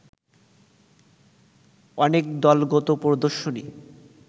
অনেক দলগত প্রদর্শনী